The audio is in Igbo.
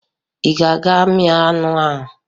Ị ga-aga mịa anụ ahụ!